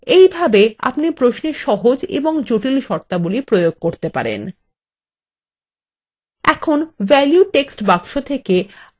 এইভাবেই আপনি প্রশ্নে সহজ এবং জটিল শর্তাবলী প্রয়োগ করতে পারেন